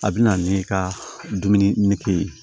A bɛ na ni i ka dumuni nege ye